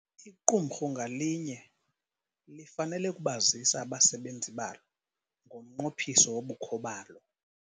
Iqumrhu ngalinye lifanele ukubazisa abasebenzi balo ngomnqophiso wobukho balo.